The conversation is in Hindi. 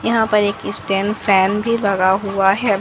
यहां पर एक स्टैंड फैन भी लगा हुआ है।